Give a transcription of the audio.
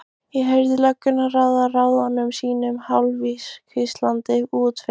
Ég heyrði löggurnar ráða ráðum sínum hálfhvíslandi úti fyrir.